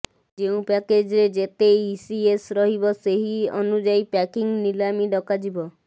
ଯେଉଁ ପ୍ୟାକେଜ୍ରେ ଯେତେ ଇସିଏସ୍ ରହିବ ସେହି ଅନୁଯାୟୀ ପାର୍କିଂ ନିଲାମି ଡକାଯିବ